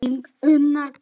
Þín Unnur Guðrún.